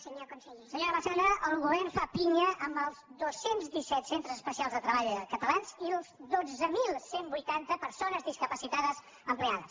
senyora massana el govern fa pinya amb els dos cents i disset centres especials de treball catalans i les dotze mil cent i vuitanta persones discapacitades empleades